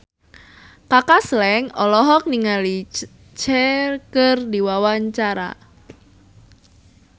Kaka Slank olohok ningali Cher keur diwawancara